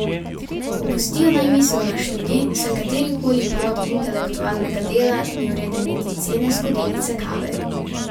Opustijo naj misel na študij, saj katerikoli plod intelektualnega dela ni vreden niti cene skodelice kave.